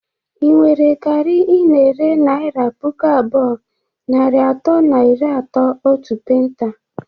Ị nwere garị ị na-ere naira puku abụọ, narị atọ na iri atọ otu penta?